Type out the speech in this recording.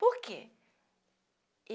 Por quê?